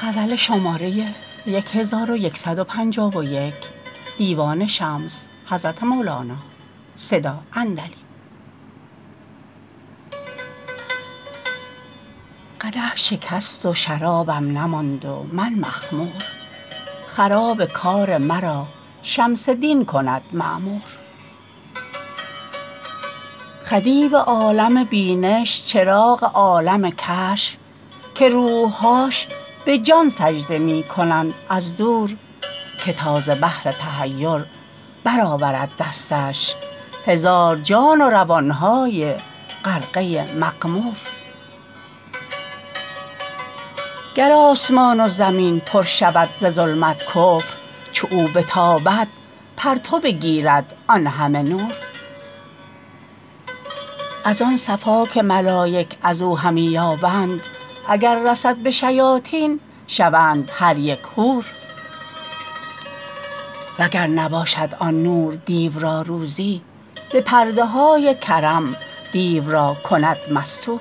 قدح شکست و شرابم نماند و من مخمور خراب کار مرا شمس دین کند معمور خدیو عالم بینش چراغ عالم کشف که روح هاش به جان سجده می کنند از دور که تا ز بحر تحیر برآورد دستش هزار جان و روان های غرقه مغمور گر آسمان و زمین پر شود ز ظلمت کفر چو او بتابد پرتو بگیرد آن همه نور از آن صفا که ملایک از او همی یابند اگر رسد به شیاطین شوند هر یک حور وگر نباشد آن نور دیو را روزی به پرده های کرم دیو را کند مستور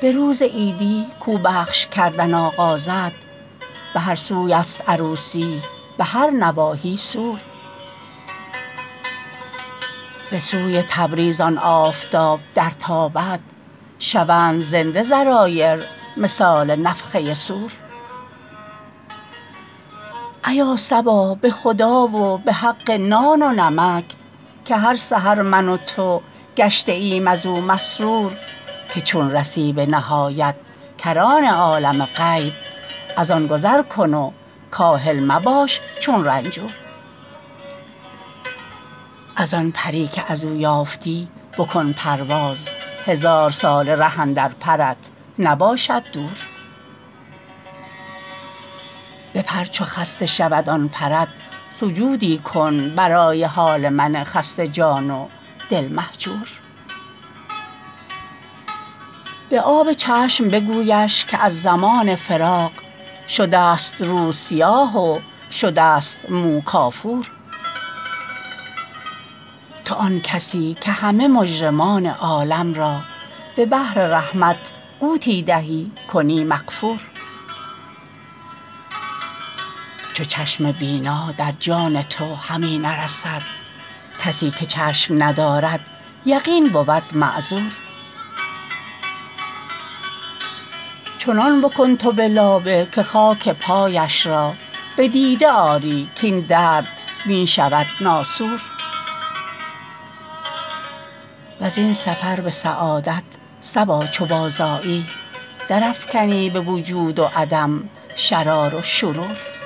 به روز عیدی کو بخش کردن آغازد به هر سوی ست عروسی به هر نواحی سور ز سوی تبریز آن آفتاب درتابد شوند زنده ذرایر مثال نفخه صور ایا صبا به خدا و به حق نان و نمک که هر سحر من و تو گشته ایم از او مسرور که چون رسی به نهایت کران عالم غیب از آن گذر کن و کاهل مباش چون رنجور از آن پری که از او یافتی بکن پرواز هزار ساله ره اندر پرت نباشد دور بپر چو خسته شود آن پرت سجودی کن برای حال من خسته جان و دل مهجور به آب چشم بگویش که از زمان فراق شدست روز سیاه و شدست مو کافور تو آن کسی که همه مجرمان عالم را به بحر رحمت غوطی دهی کنی مغفور چو چشم بینا در جان تو همی نرسد کسی که چشم ندارد یقین بود معذور چنان بکن تو به لابه که خاک پایش را بدیده آری کاین درد می شود ناسور وزین سفر به سعادت صبا چو بازآیی درافکنی به وجود و عدم شرار و شرور چو سرمه اش به من آری هزار رحمت نو به جانت بادا تا قرن های نامحصور